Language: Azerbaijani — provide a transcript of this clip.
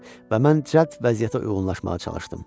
Və mən cədd vəziyyətə uyğunlaşmağa çalışdım.